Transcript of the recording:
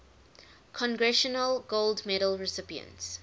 congressional gold medal recipients